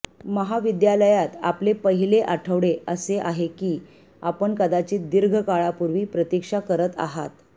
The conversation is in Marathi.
महाविद्यालयात आपले पहिले आठवडय़ असे आहे की आपण कदाचित दीर्घ काळापूर्वी प्रतीक्षा करीत आहात